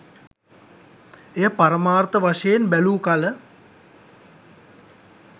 එය පරමාර්ථ වශයෙන් බැලූකල